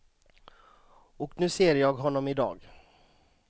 Och nu ser jag honom i dag.